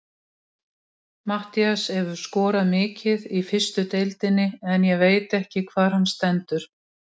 Matthías hefur skorað mikið í fyrstu deildinni en ég veit ekki hvar hann stendur.